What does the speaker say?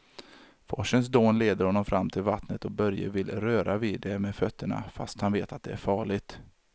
Forsens dån leder honom fram till vattnet och Börje vill röra vid det med fötterna, fast han vet att det är farligt.